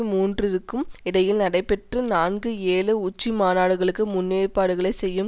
மூன்றிற்கும் இடையில் நடைபெற்ற நான்கு ஏழு உச்சிமாநாடுகளுக்கு முன்னேற்பாடுகளை செய்யும்